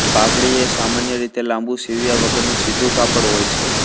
પાઘડી એ સામાન્ય રીતે લાંબુ સીવ્યા વગરનું સીધું કાપડ હોય છે